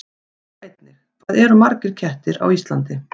Sjá einnig: Hvað eru margir kettir á Íslandi?